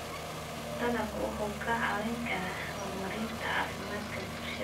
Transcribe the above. Dalaggu wuxuu kaa caawin karaa horumarinta caafimaadka bulshada.